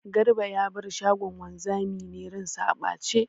Garba ya bar shagon wanzamin ne ran sa a ɓace.